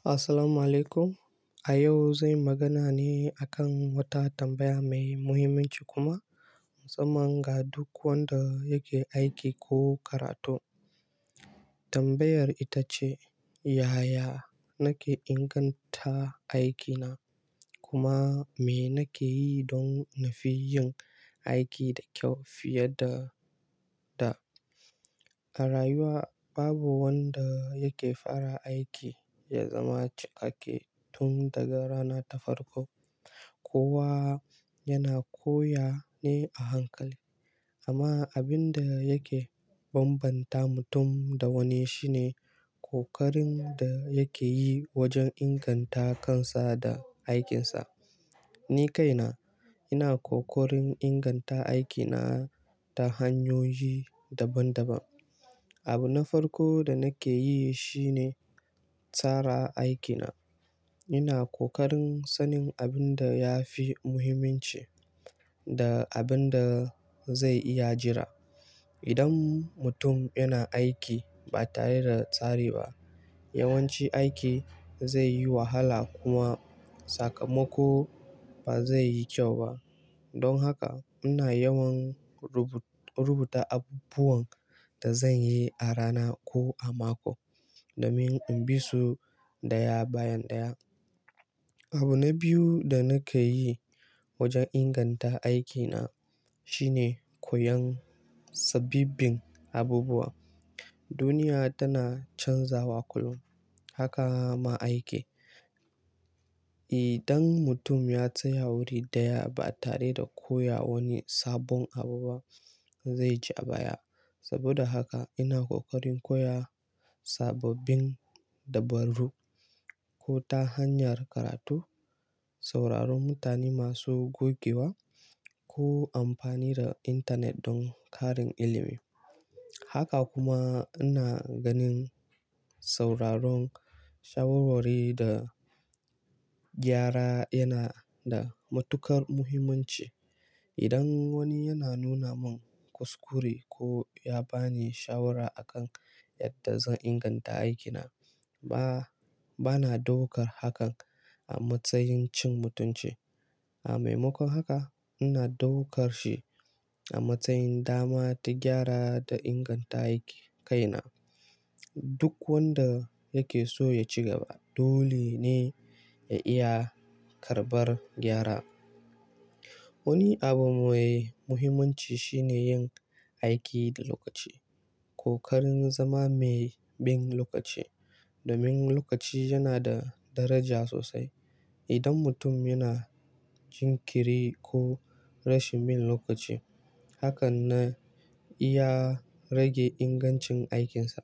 Assalamualaikum. A yau zanyi magana ne akan wata tambaya mai muhimmanci kuma Musamman ga duk wanda yake aiki ko karatu. Tambayar ita ce "Yaya nake inganta aikina kuma me nake yi don na fi yin aiki da kyau fiye da da?" A rayuwa babu wanda yake fara aiki ya zama cikake tun daga rana ta farko. Kowa yana koya ne a hankali amma abin da yake bambanta mutum da wani shine kokarin da yake yi wajen inganta kansa da aikinsa. Ni kaina ina kokarin inganta aikina ta hanyoyi daban daban. Abu na farko da nake yi shine tsara aikina. Ina kokarin sanin abin da ya fi muhimmanci da abin da zai iya jira. Idan mutum yana aiki ba tare da tsari ba, yawanci aiki zai yi wahala kuma sakamako ba zai yi kyau ba. Don haka ina yawan rubu-rubuta abubuwan da zan yi a rana ko a mako domin in bi su ɗaya bayan ɗaya. Abu na biyu da nake yi wajen inganta aikina shine koyon sababbin abubuwa. Duniya tana canzawa kullum, haka ma aiki. Idan mutum ya tsaya wuri ɗaya ba tare da koya wani sabon abu ba, zai ji a baya. Saboda haka ina kokarin koya sababbin dabarru ko ta hanyar karatu, sauraron mutane masu gogewa ko amfani da intanet don ƙarin ilimi. Haka kuma ina ganin sauraron shawarwari da gyara yana da matuƙar muhimmanci. Idan wani yana nuna mun kuskure ko ya bani shawara akan yadda zan inganta aikina, ba, bana daukar hakan a matsayin cin mutunci. A maimakon haka ina daukar shi a matsayin dama ta gyara da inganta aiki. Kaina duk wanda yake so ya ci gaba dole ne ya iya karɓar gyara. Wani abu mai muhimmanci shine yin aiki da lokaci. Kokarin zama mai bin lokaci domin lokaci yana da daraja sosai. Idan mutum yana jin kiri ko rashin bin lokaci, hakan na iya rage ingancin aikinsa.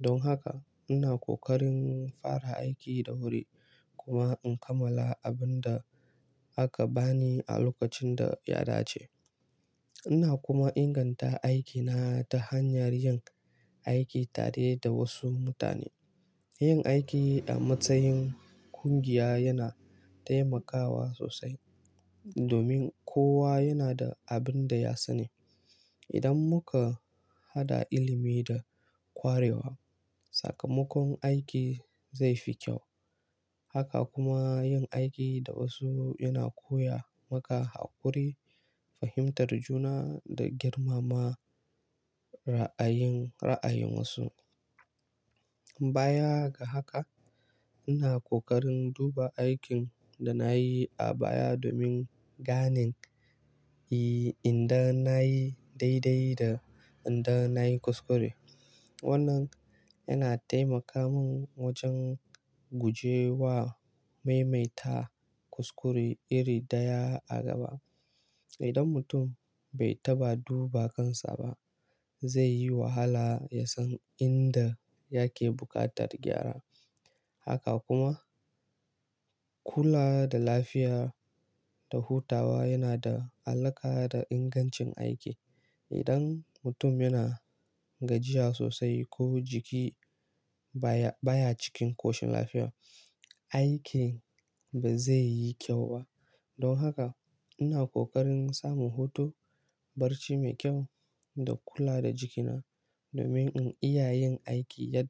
Don haka ina kokarin fara aiki da wuri kuma in kammala abin da aka bani a lokacin da ya dace. Ina kuma inganta aikina ta hanyar yin aiki tare da wasu mutane. Yin aiki a matsayin ƙungiya yana taimakawa sosai domin kowa yana da abin da ya sani. Idan muka haɗa ilimi da kwarewa, sakamakon aiki zai fi kyau. Haka kuma yin aiki da wasu yana koya maka haƙuri, fahimtar juna da girmama ra'ayin, ra'ayin wasu. Baya ga haka ina kokarin duba aikin da na yi a baya domin ganin yi inda na yi daidai da inda na yi kuskure. Wannan yana taimaka min wajen guje wa maimaita kuskure iri daya a gaba. Idan mutum bai taɓa duba kansa ba, zai yi wahala ya san inda yake buƙatar gyara. Haka kuma kula da lafiya da hutawa yana da alaƙa da ingancin aiki. Idan mutum yana gajiya sosai ko jiki baya, baya cikin koshin lafiya, aiki ba zai yi kyau ba. Don haka ina kokarin samun hutu, barci mai kyau da kula da jikina domin in iya yin aiki yadda.